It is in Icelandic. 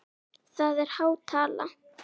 Það er há tala?